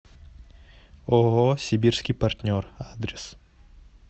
ооо сибирский партнер адрес